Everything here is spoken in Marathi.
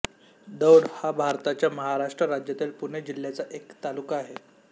दौंड हा भारताच्या महाराष्ट्र राज्यातील पुणे जिल्ह्याचा एक तालुका आहे